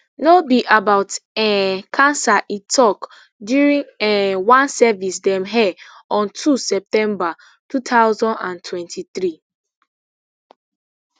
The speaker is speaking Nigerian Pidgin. no be about um cancer e tok during um one service dem air on two september two thousand and twenty-three